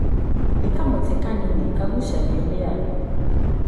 Nĩ kamũtĩ kanini kagũcagio nĩ andũ.